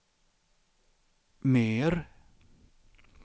mer